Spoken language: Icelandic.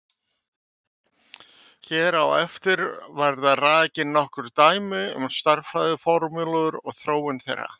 Hér á eftir verða rakin nokkur dæmi um stærðfræðiformúlur og þróun þeirra.